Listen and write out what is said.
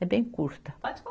É bem curta. Pode